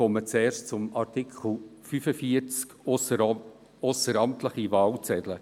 Zuerst zu Artikel 45 betreffend die ausseramtlichen Wahlzettel.